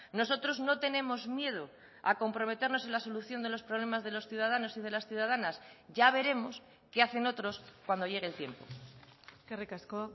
nosotros no tenemos miedo a comprometernos en la solución de los problemas de los ciudadanos y de las ciudadanas ya veremos qué hacen otros cuando llegue el tiempo eskerrik asko